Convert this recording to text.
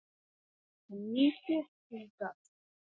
Ertu nýflutt hingað?